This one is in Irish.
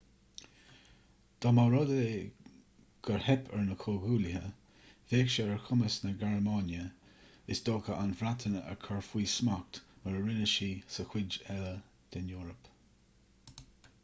dá mba rud é gur theip ar na comhghuaillithe bheadh sé ar chumas na gearmáine is dócha an bhreatain a chur faoina smacht mar a rinne sí sa chuid eile den eoraip